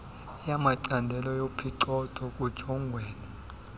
yamacandelo yophicotho kujongwene